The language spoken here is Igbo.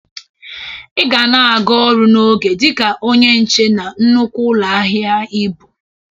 Ị ga na-aga ọrụ n'oge dịka onye nche na nnukwu ụlọ ahịa ị bụ!